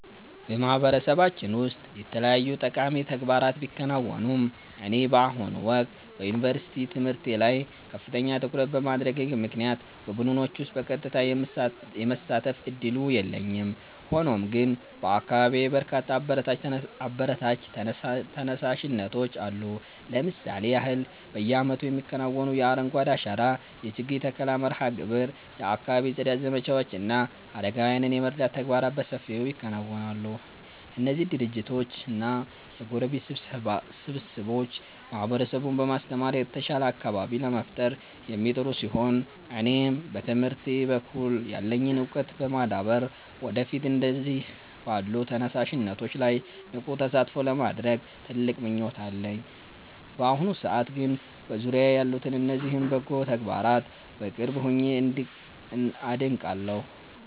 በማህበረሰባችን ውስጥ የተለያዩ ጠቃሚ ተግባራት ቢከናወኑም፣ እኔ በአሁኑ ወቅት በዩኒቨርሲቲ ትምህርቴ ላይ ከፍተኛ ትኩረት በማድረጌ ምክንያት በቡድኖች ውስጥ በቀጥታ የመሳተፍ ዕድሉ የለኝም። ሆኖም ግን በአካባቢዬ በርካታ አበረታች ተነሳሽነቶች አሉ። ለምሳሌ ያህል፣ በየዓመቱ የሚከናወነው የአረንጓዴ አሻራ የችግኝ ተከላ መርሃ ግብር፣ የአካባቢ ጽዳት ዘመቻዎች እና አረጋውያንን የመርዳት ተግባራት በሰፊው ይከናወናሉ። እነዚህ ድርጅቶችና የጎረቤት ስብስቦች ማህበረሰቡን በማስተባበር የተሻለ አካባቢ ለመፍጠር የሚጥሩ ሲሆን፣ እኔም በትምህርቴ በኩል ያለኝን ዕውቀት በማዳበር ወደፊት እንደነዚህ ባሉ ተነሳሽነቶች ላይ ንቁ ተሳትፎ ለማድረግ ትልቅ ምኞት አለኝ። በአሁኑ ሰዓት ግን በዙሪያዬ ያሉትን እነዚህን በጎ ተግባራት በቅርብ ሆኜ አደንቃለሁ።